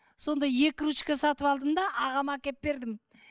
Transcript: сондай екі ручка сатып алдым да ағама әкеп бердім